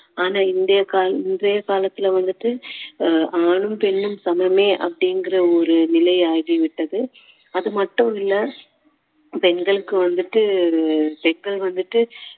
ஆனா இன்றைய கால~ இன்றைய காலத்துல வந்துட்டு ஆணும் பெண்ணும் சமமே அப்படிங்குற ஒரு நிலையாகிவிட்டது அது மட்டும் இல்லை பெண்களுக்கு வந்துட்டு பெண்கள் வந்துட்டு